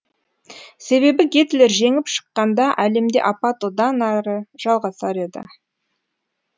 себебі гитлер жеңіп шыққанда әлемде апат одан әрі жалғасар еді